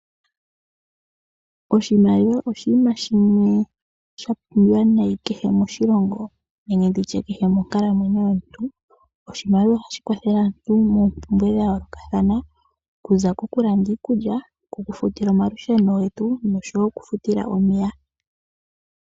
Oshimaliwa oshinima shimwe sha pumbiwa nayi kehe moshilongo nenge monkalamwenyo yomuntu kehe. Oshimaliwa ohashi kwathele aantu moompwumbwe dha yoolokathana, okuza kokulanda iikulya, okufuta omalusheno noshowo omeya.